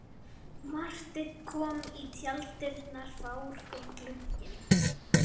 Marteinn kom í tjalddyrnar fár og gugginn.